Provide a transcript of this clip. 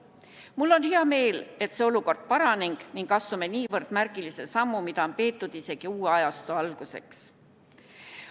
Mul on hea meel, et olukord paraneb ning astume niivõrd märgilise sammu, mida on peetud isegi uue ajastu alguseks.